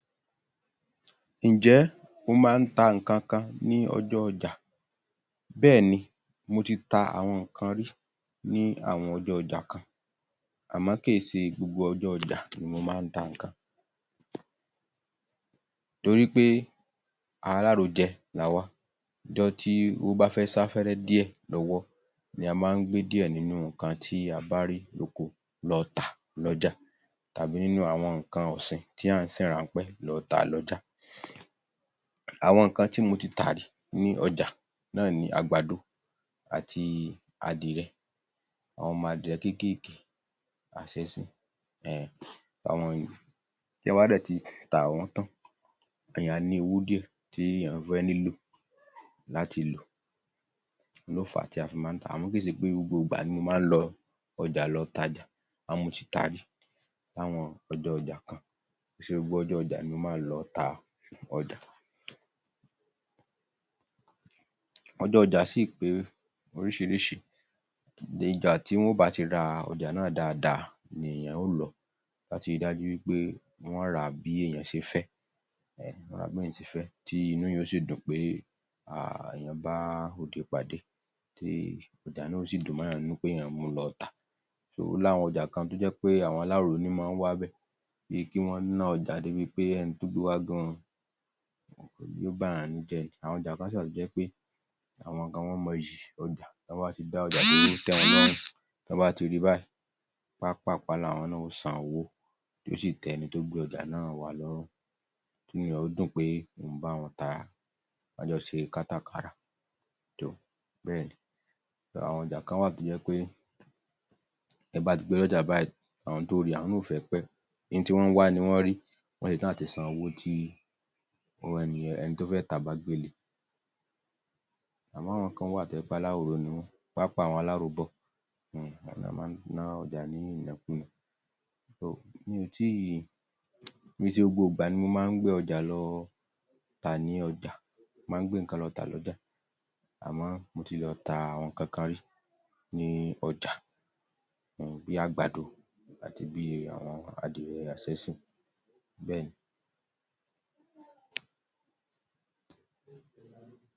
Ǹ jẹ́ o máa ń ta nǹkankan ní ọjọ́ ọjà? Bẹ́ẹ̀ni, mo ti ta àwọn nǹkan rí ní àwọn ọjọ́ ọjà kan, àmọ́ kí í ṣe gbogbo ọjọ́ ọjà ni mo máa ń ta nǹkan, torí pé alárojẹ làwa, ọjọ́ tí owó bá fẹ́ sá fẹ́rẹ́ díẹ̀ lọ́wọ́ ni a máa ń gbẹ díẹ̀ nínú nǹkan tí á bá rí lóko lọ tà lọ́jà tàbí nínú àwọn nǹkan ọ̀sìn tí à ń sìn ráńpẹ́ lọ tà lọ́jà. Àwọn nǹkan tí mo ti tà rí ní ọjà náà ni àgàdo àti adìẹ, àwọn ọmọ adìẹ kéékèèkéé, àṣẹ́sìn um àwọn yẹn, tí èyàn bá dẹ̀ ti tà wọ́n tán, èyàn á ní owó díẹ̀ tí èyàn fẹ́ nílò láti lò, òun ló á tí a fi máa ń tà á, àmọ kì í ṣe gbogbo ìgbà ni mo máa ń lọ ọjà lọ tajà, àmọ mo ti tá á rí ní àwọn ọjọ́ ọjà kan, kì í ṣe gbogbo ọjọ́ ọjà ni mo máa ń lọ ta ọjà, ọjọ́ ọjà sì ṕe oríṣiríṣi, ọjá tí wọn ó bá ti ra ọjà náà dáadáa ni èyàn ó lọ, tí a bá ti rí dájú pé wọn ó rà á bí èyàn ṣe fẹ́ um wọ́n rà á bí èyàn ṣe fẹ́, tí inú èyàn yóò sì dùn pé um èyàn bá ode pàdé, tí ọjà náà yóò sì dùn mọ́ èyàn nínú pé èyàn mú un lọ tà, ó ní àwọn ọjà kan tó jẹ́ àwọn aláròró ní máa ń wá bẹ̀, bí i kí wọn ná ọjà débi pé ẹni tó gbé wá gan-an, yóò ba èyàn nínú jẹ́ ni. Àwọn ọjà kan sì wà tó jẹ́ pé àwọn kan mọ iyì ọjà, tí wọ́n bá ti dá ọjà tí ó tẹ́ wọn lọ́rùn, tí wọ́n bá ti ri báyìí, páápààpáá láwọn náà ó san owó, tí yóò sì tẹ́ ẹni tó gbé ọjà náà wá lọ́rùn, inú èyàn yóò dùn pé òun bá wọn tà á, ká jo ṣe kátàkárà. Too, bẹ́ẹ̀ni, àwọn ọjà kan wà tó jẹ́ pé bí ẹ bá ti gbé dé ọjà báyìí, àwọn to ri, àwọn náà ò fẹ́ pẹ́, ohun tí wọ́n ń wá ni wọ́n rí, wọ́n ṣe tán àti san owò tí ẹni yẹn, ẹni tó fẹ́ tà á bá gbé lé e, àmọ́ àwọn kan tó jẹ́ pé aláròró ni wọ́n, pàápàá àwọn aláróbọ̀ um awọn ló máa ń ná ọjà ní ìnákúùná um mi ò tí ì, kì Í ṣe gbogbo ìgbà ni mo máa ń gbé ọjà lọ tà ní ọjà, mo máa ń gbé nǹkan lọ tà lọ́jà, àmọ́, mo ti lọ ta àwọn nǹkankan rí ní ọjà, [um]bí i àgbàdo àti bí i àwón adìẹ àṣẹ́sìn, bẹ́ẹ̀ni [pause